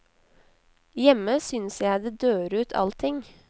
Hjemme synes jeg det dør ut allting.